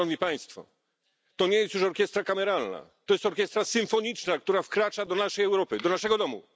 Szanowni Państwo, to nie jest już orkiestra kameralna, to jest orkiestra symfoniczna, która wkracza do naszej Europy, do naszego domu.